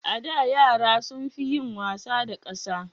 A da, yara sun fi yin wasa da ƙasa